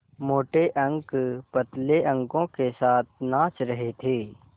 मोटे अंक पतले अंकों के साथ नाच रहे थे